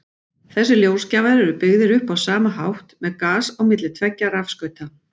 Þessir ljósgjafar eru byggðir upp á sama hátt, með gas á milli tveggja rafskauta.